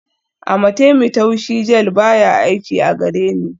Amatemí taushi gel baya aiki a gareni